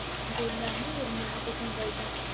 அது எல்லாமே ஒரு நியாபகங்கள் தான்